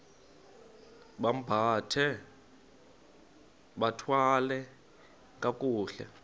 bambathe bathwale kakuhle